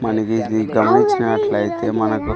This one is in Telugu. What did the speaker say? మనిది ఇది గమనించినట్లయితే మనకు --